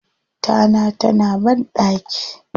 Tana ta na banɗaki.